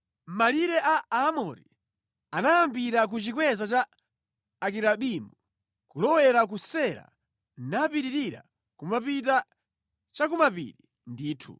Malire a Aamori anayambira ku chikweza cha Akirabimu nʼkulowera ku Sela napitirira kumapita chakumapiri ndithu.